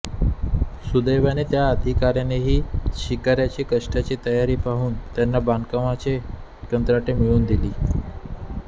सुदैवाने त्या अधिकाऱ्यानेही शिर्क्यांची कष्टाची तयारी पाहून त्यांना बांधकामांची कंत्राटे मिळवून दिली